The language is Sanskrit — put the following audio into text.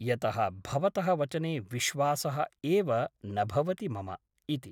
यतः भवतः वचने विश्वासः एव न भवति मम इति ।